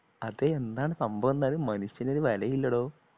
അതേ എന്താണ് സംഭവം എന്താണ് മനുഷ്യന് ഒരു വിലയുമില്ലടോ